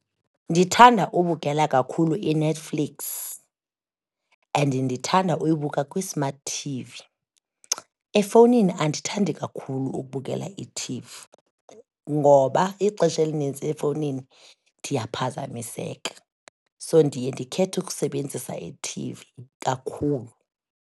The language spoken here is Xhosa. Ndithanda ukubukela kakhulu iNetflix, and ndithanda ukuyibuka kwi-smart T_V, efowunini andithandi kakhulu ukubukela ithivi ngoba ixesha elinintsi efowunini ndiyaphazamiseka, so ndiye ndikhethe ukusebenzisa i-thivi kakhulu.